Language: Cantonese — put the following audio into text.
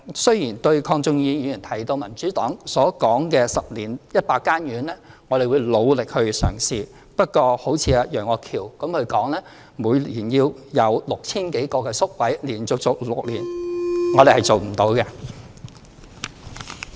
對於鄺俊宇議員提到，民主黨建議10年興建100間院舍，我們會努力嘗試，不過如果好像楊岳橋議員說，每年要有 6,000 多個宿位，並且連續做6年，我們是做不到的。